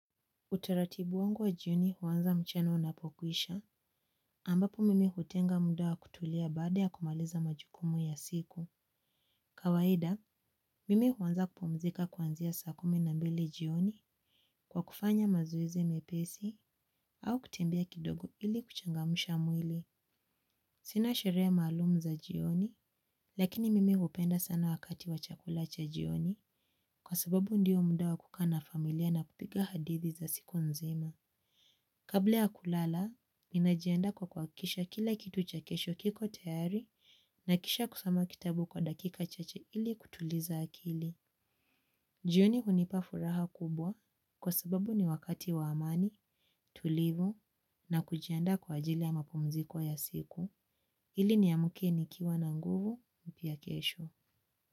Utaratibu wangu wa jioni huanza mchana unapokwisha, ambapo mimi hutenga muda wa kutulia baada ya kumaliza majukumu ya siku. Kawaida, mimi huanza kupumzika kwanzia saa kumi na mbili jioni kwa kufanya mazoezi mepesi au kutembea kidogo ili kuchangamsha mwili. Sina sherehe maalum za jioni, lakini mimi hupenda sana wakati wa chakula cha jioni kwa sababu ndiyo muda wa kukaa na familia na kupiga hadithi za siku nzima. Kabla ya kulala, ninajiandaa kwa kuhakikisha kila kitu cha kesho kiko tayari na kisha kusoma kitabu kwa dakika chache ili kutuliza akili. Jioni hunipa furaha kubwa kwa sababu ni wakati wa amani, tulivu na kujiandaa kwa ajili ya mapumziko ya siku. Ili ni amke nikiwa na nguvu ya kesho.